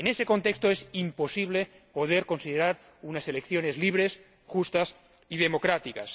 En ese contexto es imposible poder considerar unas elecciones libres, justas y democráticas.